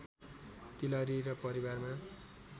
तिलहरी र परिवारमा